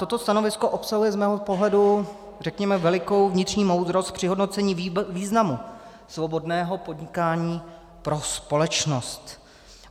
Toto stanovisko obsahuje z mého pohledu, řekněme, velikou vnitřní moudrost při hodnocení významu svobodného podnikání pro společnost.